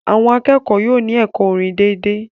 Àwọn akẹ́kọ̀ọ́ yóò ní ẹ̀kọ́ orin dédé